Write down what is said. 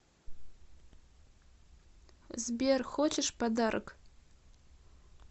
сбер хочешь подарок